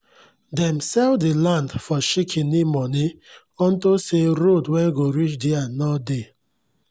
dem sell the land for shikini money unto say road wen go reach der nor dey